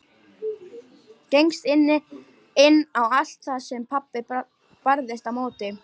Gengst inn á allt það sem pabbi barðist á móti.